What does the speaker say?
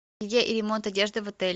где ремонт одежды в отеле